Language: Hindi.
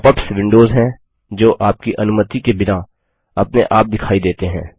pop अप्स विंडोज हैं जो आपकी अनुमति के बिना अपने आप दिखाई देते हैं